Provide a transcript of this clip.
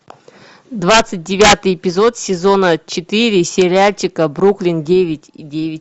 двадцать девятый эпизод сезона четыре сериальчика бруклин девять и девять